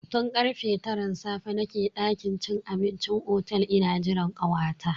Tun karfe taran safe nake dakin cin abincin otel ina jiran kawata.